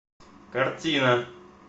картина